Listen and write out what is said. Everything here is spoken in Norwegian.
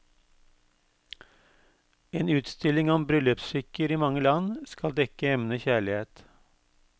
En utstilling om bryllupsskikker i mange land skal dekke emnet kjærlighet.